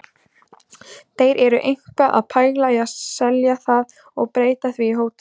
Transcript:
Þeir eru eitthvað að pæla í að selja það og breyta því í hótel.